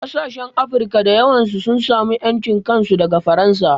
Ƙasashen Afirka da yawa sun samu ƴancin kansu daga Faransa